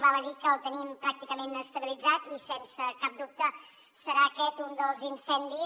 val a dir que el tenim pràcticament estabilitzat i sense cap dubte serà aquest un dels incendis